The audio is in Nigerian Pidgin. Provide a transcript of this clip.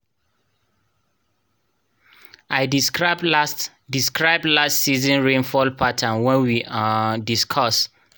i describe last describe last season rainfall pattern wen we um discuss